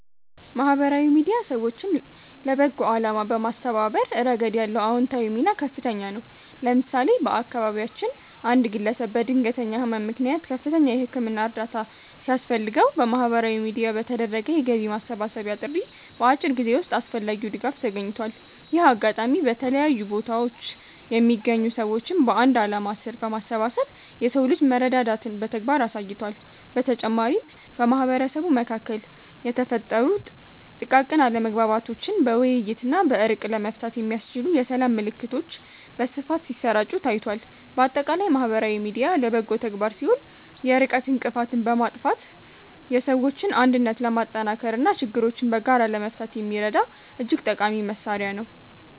ማህበራዊ ሚዲያ ሰዎችን ለበጎ አላማ በማስተባበር ረገድ ያለው አዎንታዊ ሚና ከፍተኛ ነው። ለምሳሌ፣ በአካባቢያችን አንድ ግለሰብ በድንገተኛ ህመም ምክንያት ከፍተኛ የህክምና እርዳታ ሲያስፈልገው፣ በማህበራዊ ሚዲያ በተደረገ የገቢ ማሰባሰቢያ ጥሪ በአጭር ጊዜ ውስጥ አስፈላጊው ድጋፍ ተገኝቷል። ይህ አጋጣሚ በተለያዩ ቦታዎች የሚገኙ ሰዎችን በአንድ ዓላማ ስር በማሰባሰብ የሰው ልጅ መረዳዳትን በተግባር አሳይቷል። በተጨማሪም፣ በማህበረሰቡ መካከል የተፈጠሩ ጥቃቅን አለመግባባቶችን በውይይትና በእርቅ ለመፍታት የሚያስችሉ የሰላም መልዕክቶች በስፋት ሲሰራጩ ታይቷል። ባጠቃላይ ማህበራዊ ሚዲያ ለበጎ ተግባር ሲውል የርቀት እንቅፋትን በማጥፋት የሰዎችን አንድነት ለማጠናከርና ችግሮችን በጋራ ለመፍታት የሚረዳ እጅግ ጠቃሚ መሣሪያ ነው።